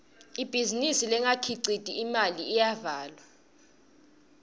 ibhizinisi lengakhiciti imali iyavalwa